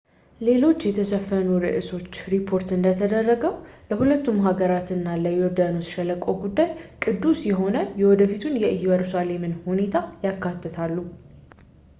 ሌሎች የተሸፈኑ ርእሶች ሪፖርት እንደተደረገው ለሁለቱም ሀገራት እና ለዮርዳኖስ ሸለቆ ጉዳይ ቅዱስ የሆነ የወደፊቱን የኢየሩሳሌምን ሁኔታ ያካትታሉ